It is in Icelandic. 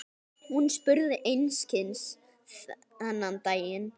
Hún spurði einskis þennan daginn.